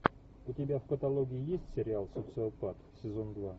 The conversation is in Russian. у тебя в каталоге есть сериал социопат сезон два